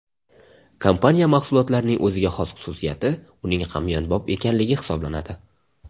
Kompaniya mahsulotlarining o‘ziga xos xususiyati uning hamyonbop ekanligi hisoblanadi.